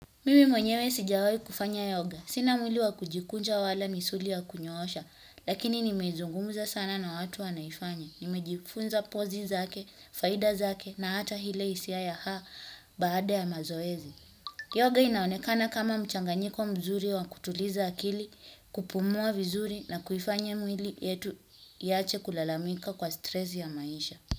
Mimi mwenyewe sijawahi kufanya yoga. Sina mwili wa kujikunja wala misuli ya kunyoosha, lakini nimezungumza sana na watu wanaoifanya. Nimejifunza pozi zake, faida zake na hata ile hisia ya baada ya mazoezi. Yoga inaonekana kama mchanganyiko mzuri wa kutuliza akili, kupumua vizuri na kufanya mwili wetu uache kulalamika kwa stress ya maisha.